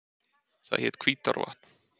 Það hét Hvítárvatn.